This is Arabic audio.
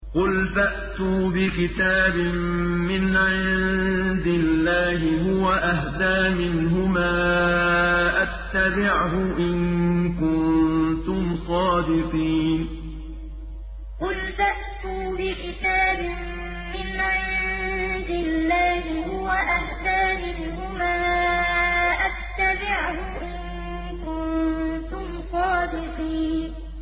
قُلْ فَأْتُوا بِكِتَابٍ مِّنْ عِندِ اللَّهِ هُوَ أَهْدَىٰ مِنْهُمَا أَتَّبِعْهُ إِن كُنتُمْ صَادِقِينَ قُلْ فَأْتُوا بِكِتَابٍ مِّنْ عِندِ اللَّهِ هُوَ أَهْدَىٰ مِنْهُمَا أَتَّبِعْهُ إِن كُنتُمْ صَادِقِينَ